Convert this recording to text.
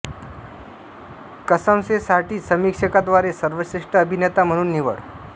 कसम से साठी समीक्षकांद्वारे सर्वश्रेष्ठ अभिनेता म्हणून निवड